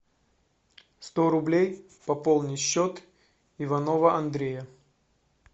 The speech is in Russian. сто рублей пополни счет иванова андрея